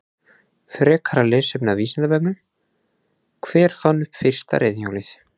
Frekara lesefni af Vísindavefnum: Hver fann upp fyrsta reiðhjólið?